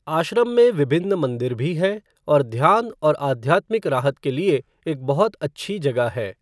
आश्रम में विभिन्न मंदिर भी हैं और ध्यान और आध्यात्मिक राहत के लिए एक बहुत अच्छी जगह है।